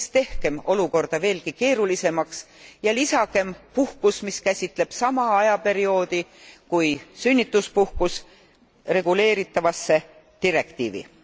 Ärgem siis tehkem olukorda veelgi keerulisemaks, vaid lisagem puhkus, mis käsitleb sama ajaperioodi kui sünnituspuhkus, reguleeritavasse direktiivi.